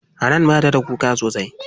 Hanan bata da kuka sosai.